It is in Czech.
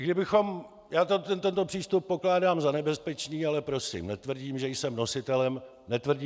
I kdybychom - já tento přístup pokládám za nebezpečný, ale prosím, netvrdím, že jsem nositelem jediné pravdy.